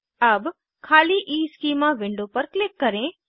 अब खाली schema schema window पर क्लिक करें